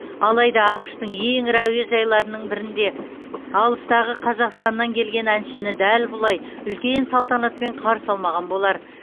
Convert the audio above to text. алайда ақш тың ең ірі әуежайларының бірінде алыстағы қазақстанан келген әншіні дәл бұлай үлкен салтанатпен қарсы алмаған болар